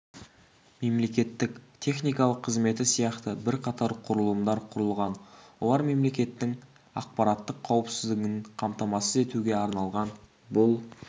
мемлекеттік техникалық қызметі сияқты бірқатар құрылымдар құрылған олар мемлекеттің ақпараттық қауіпсіздігін қамтамасыз етуге арналған бұл